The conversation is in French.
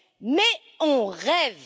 Mais on rêve!